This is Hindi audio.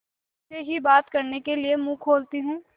और जैसे ही बात करने के लिए मुँह खोलती हूँ